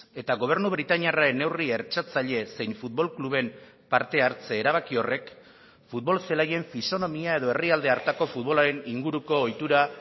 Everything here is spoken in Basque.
eta gobernu britainiarraren neurri hertsatzailez zein futbol kluben parte hartze erabaki horrek futbol zelaien fisonomia edo herrialde hartako futbolaren inguruko ohitura